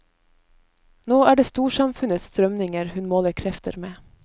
Nå er det storsamfunnets strømninger hun måler krefter med.